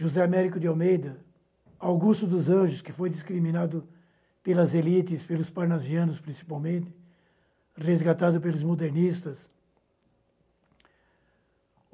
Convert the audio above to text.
José Américo de Almeida, Augusto dos Anjos, que foi discriminado pelas elites, pelos parnasianos principalmente, resgatado pelos modernistas.